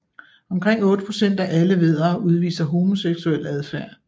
Omkring 8 procent af alle væddere udviser homoseksuel adfærd